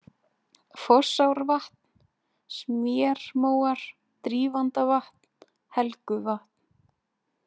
Fossárvatn, Smérmóar, Drífandavatn, Helguvatn